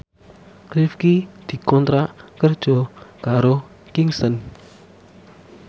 Rifqi dikontrak kerja karo Kingston